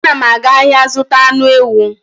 Anam aga ahia zuta anu ewu